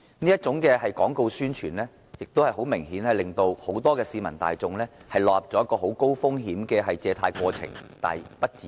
這種廣告宣傳明顯令很多市民大眾落入了高風險的借貸過程而不自知。